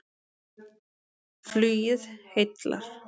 Flugið heillar